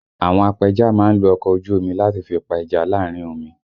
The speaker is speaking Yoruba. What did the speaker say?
Àwọn apẹja má ń lo ọkọ̀ ojú omi láti fi pa ẹja láàrin omi